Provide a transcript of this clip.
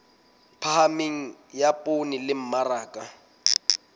phahameng ya poone le mmaraka